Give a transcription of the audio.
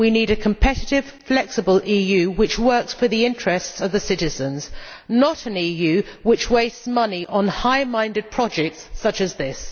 We need a competitive, flexible EU which works for the interests of the citizens, not an EU which wastes money on high minded projects such as this.